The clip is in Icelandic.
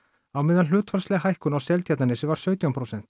á meðan hlutfallsleg hækkun á Seltjarnarnesi var sautján prósent